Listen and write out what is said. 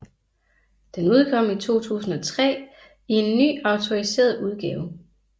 Den udkom i 2003 i en ny autoriseret udgave